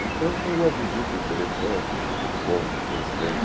Então, foi uma visita interessante, um um encontro interessante.